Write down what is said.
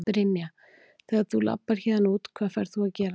Brynja: Þegar þú labbar héðan út, hvað ferð þú að gera?